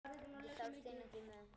Ég þarf þín ekki með.